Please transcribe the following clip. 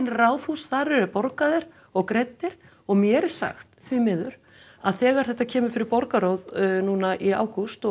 Ráðhús þar eru þeir borgaðir og greiddir og mér er sagt því miður að þegar þetta kemur fyrir borgarráð núna í ágúst og